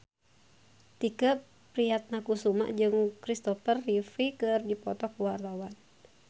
Tike Priatnakusuma jeung Christopher Reeve keur dipoto ku wartawan